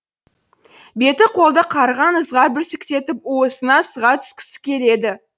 беті қолды қарыған ызғар бүрсектетіп уысына сыға түскісі келеді